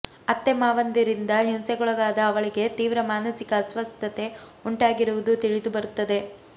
ಅತ್ತೆ ಮಾವಂದಿರಿಂದ ಹಿಂಸೆಗೊಳಗಾದ ಅವಳಿಗೆ ತೀವ್ರ ಮಾನಸಿಕ ಅಸ್ವಸ್ಥತೆ ಉಂಟಾಗಿರುವುದು ತಿಳಿದುಬರುತ್ತದೆ